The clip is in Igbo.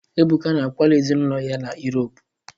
Ebuka na akwala ezinụlọ ya na Yuropu.